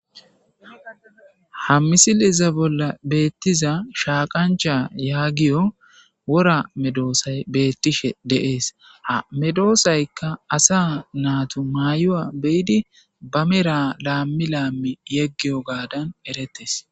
ha misileza bolla beettiza shaaqancha yaagiyo wora medoosay beettishe deees ha medoosaykka asa naatu maayuwa beyidi ba mera laammi laammi yeggiyo gaadan erettes